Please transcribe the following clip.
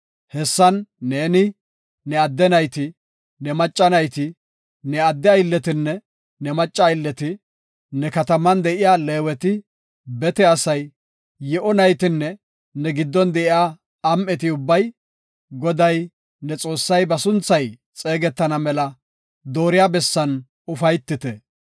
Hessan neeni, ne adde nayti, ne macca nayti, ne adde aylletinne ne macca aylleti, ne kataman de7iya Leeweti, bete asay, yi7o naytinne ne giddon de7iya am7eti ubbay, Goday, ne Xoossay ba sunthay xeegetana mela dooriya bessan ufaytite.